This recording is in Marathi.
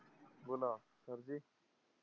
बोला sir जी.